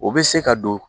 O bɛ se ka don